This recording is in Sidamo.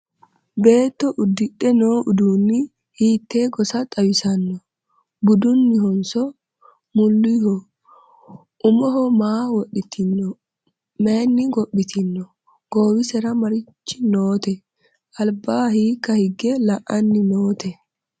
Beetto udidhe noo uduunni hiitte gosa xawissanno? Budunnihonso? mulihoho? Umoho maa wodhittinno? Mayiinni gophittinno? Goowisera marichi nootte? Alibba hiikka hige la'anni nootte?